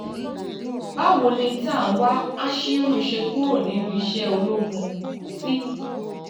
báwo ni tanwa ashiru ṣe kúrò nínú iṣẹ́ ológun ti